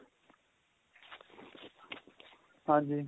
ਹਾਂਜੀ